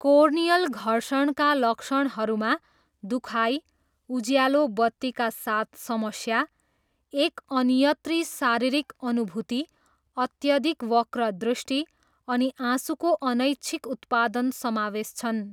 Corneal घर्षणका लक्षणहरूमा दुखाइ, उज्यालो बत्तीका साथ समस्या, एक अन्यत्री शारीरिक अनुभूति, अत्यधिक वक्रदृष्टि अनि आँसुको अनैच्छिक उत्पादन समावेश छन्।